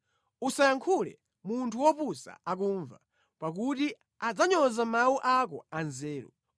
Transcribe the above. Usayankhule munthu wopusa akumva, pakuti adzanyoza mawu ako anzeru.